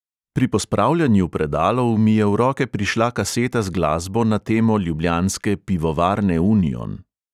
Pri pospravljanju predalov mi je v roke prišla kaseta z glasbo na temo ljubljanske pivovarne union.